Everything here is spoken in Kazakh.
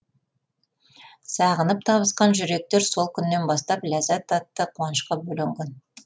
сағынып табысқан жүректер сол күннен бастап ләззат атты қуанышқа бөленген